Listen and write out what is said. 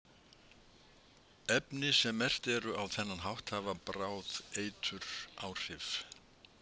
Efni sem merkt eru á þennan hátt hafa bráð eituráhrif.